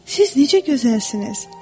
Siz necə gözəlsiniz?